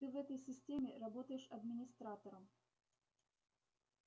ты в этой системе работаешь администратором